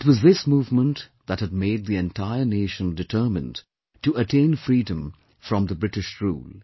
It was this movement that had made the entire nation determined to attain freedom from the British Rule